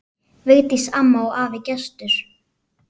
Vigdís amma og afi Gestur.